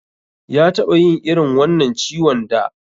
Ya taɓa yin irin wannan ciwon da.